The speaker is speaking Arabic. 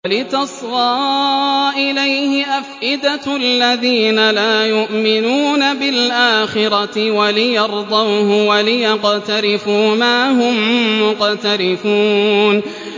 وَلِتَصْغَىٰ إِلَيْهِ أَفْئِدَةُ الَّذِينَ لَا يُؤْمِنُونَ بِالْآخِرَةِ وَلِيَرْضَوْهُ وَلِيَقْتَرِفُوا مَا هُم مُّقْتَرِفُونَ